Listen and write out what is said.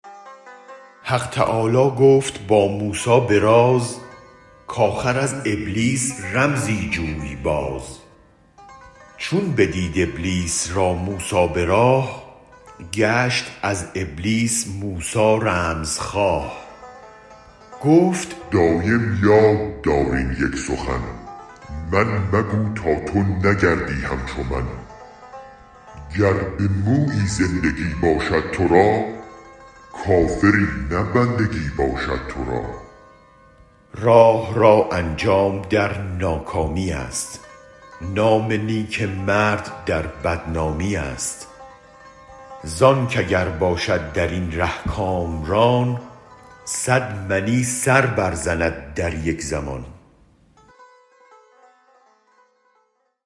حق تعالی گفت با موسی به راز کاخر از ابلیس رمزی جوی باز چون بدید ابلیس را موسی به راه گشت از ابلیس موسی رمزخواه گفت دایم یاددار این یک سخن من مگو تا تو نگردی همچومن گر به مویی زندگی باشد ترا کافری نه بندگی باشد ترا راه را انجام در ناکامیست نام نیک مرد در بدنامیست زانک اگر باشد درین ره کامران صد منی سر برزند در یک زمان